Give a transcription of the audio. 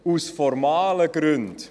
Aus formalen Gründen: